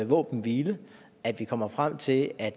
våbenhvile og at vi kommer frem til at